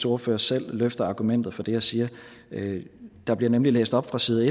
ordfører selv løfter argumentet for det jeg siger der bliver nemlig læst op fra side